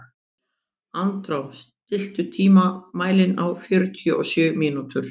Andrá, stilltu tímamælinn á fjörutíu og sjö mínútur.